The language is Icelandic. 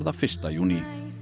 fyrsta júní